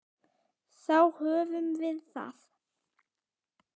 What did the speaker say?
Þá höfum við það.